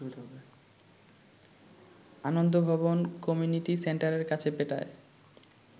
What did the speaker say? Anand Bhavan community সেন্টারের কাছে পেটায়